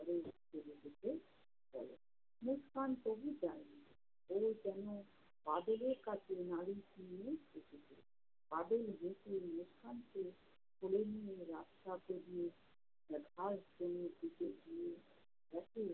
মুসকান তবু যায় না। ও যেনো বাদলের কাছে নালিশ নিয়েই এসেছে। বাদল মুসকানকে কোলে নিয়ে রাস্তা পেরিয়ে এর ঘাসজমির দিকে গিয়ে দেখে